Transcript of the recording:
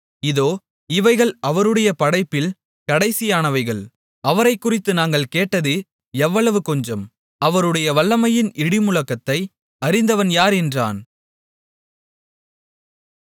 இதோ இவைகள் அவருடைய படைப்பில் கடைசியானவைகள் அவரைக்குறித்து நாங்கள் கேட்டது எவ்வளவு கொஞ்சம் அவருடைய வல்லமையின் இடிமுழக்கத்தை அறிந்தவன் யார் என்றான்